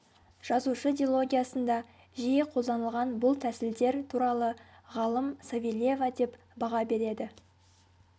жазушы дилогиясында жиі қолданылған бұл тәсілдер туралы ғалым савельева деп баға береді